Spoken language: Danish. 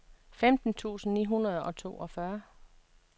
femten tusind ni hundrede og toogfyrre